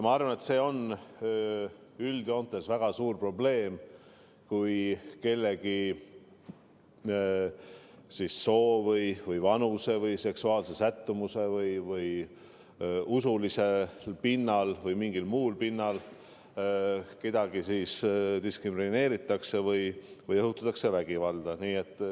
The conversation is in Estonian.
Ma arvan, et see on üldjoontes väga suur probleem, kui kellegi soo, vanuse, seksuaalse sättumuse või usu pinnal või mingil muul pinnal kedagi diskrimineeritakse või õhutatakse vägivalda.